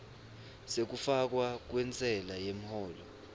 sekufakwa kwentsela yemholo